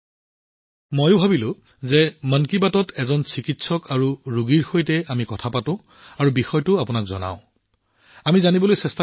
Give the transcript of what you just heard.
এইটো মোৰ মনলৈও আহিছিল কিয়নো এজন চিকিৎসক আৰু ৰোগীৰ সৈতে মন কী বাতত এই বিষয়ে কথা নাপাতো আৰু বিষয়টো আপোনালোক সকলোকে নজনাও